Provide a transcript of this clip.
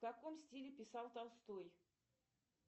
в каком стиле писал толстой